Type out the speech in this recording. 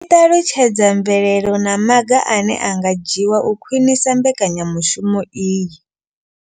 I ṱalutshedza mvelelo na maga ane a nga dzhiwa u khwinisa mbekanyamushumo iyi.